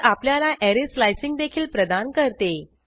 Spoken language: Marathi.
पर्ल आपल्याला ऍरे स्लाइसिंग देखील प्रदान करते